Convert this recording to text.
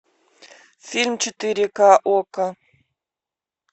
фильм четыре ка окко